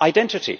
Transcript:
identity?